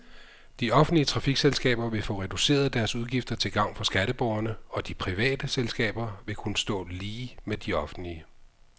De offentlige trafikselskaber vil få reduceret deres udgifter til gavn for skatteborgerne, og de private selskaber vil kunne stå lige med de offentlige.